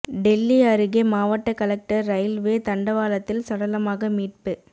டெல்லி அருகே மாவட்ட collector railway தண்டவாளத்தில் சடலமாக மீட்பு